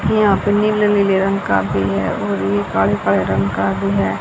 यहां पे नीले नील रंग काफी है और यह काले काले रंग का भी है।